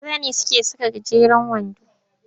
Maza ne suke saka gajeren wando.